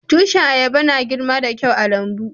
Tushin ayaba na girma da kyau a'lambu.